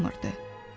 açılmırdı.